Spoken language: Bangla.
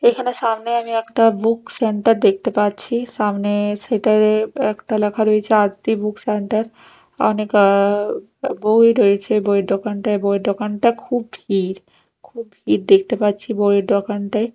এখানে সামনে আমি একটা বুক সেন্টার দেখতে পাচ্ছি সামনের শেড -এ একটা লেখা রয়েছে আরতি বুক সেন্টার অনেক আ বই রয়েছে বইয়ের দোকানটায় বইয়ের দোকানটা খুব ভিড় খুব ভিড় দেখতে পাচ্ছি বইয়ের দোকানটায়।